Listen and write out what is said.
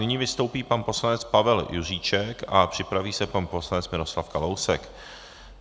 Nyní vystoupí pan poslanec Pavel Juříček a připraví se pan poslanec Miroslav Kalousek.